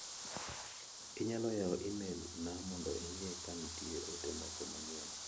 Inyalo yawo imel na mondo ing'i ka nitie ote moko manyien.